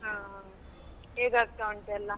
ಹಾ ಹಾ ಹೇಗೆ ಆಗ್ತಾ ಉಂಟು ಎಲ್ಲಾ.